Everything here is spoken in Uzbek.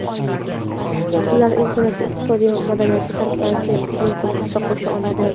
ular insoniyatning iqtisodiy va madaniy taraqqiyotiga salmoqli hissa qo‘sha oladi.